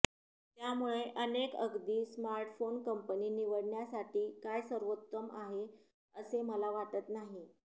त्यामुळे अनेक अगदी स्मार्टफोन कंपनी निवडण्यासाठी काय सर्वोत्तम आहे असे मला वाटत नाही